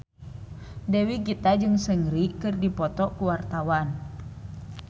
Dewi Gita jeung Seungri keur dipoto ku wartawan